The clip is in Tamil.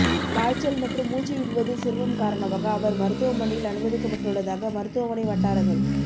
காய்ச்சல் மற்றும் மூச்சு விடுவதில் சிரமம் காரணமாக அவர் மருத்துவமனையில் அனுமதிக்கப்பட்டுள்ளதாக மருத்துவமனை வட்டாரங்கள்